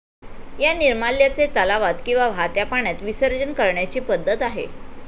या निर्माल्याचे तलावात किंवा वाहत्या पाण्यात विसर्जन करण्याची पद्धत आहे.